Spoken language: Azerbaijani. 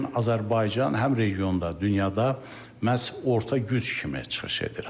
Bu gün Azərbaycan həm regionda, dünyada məhz orta güc kimi çıxış edir.